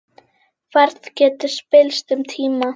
Færð getur spillst um tíma.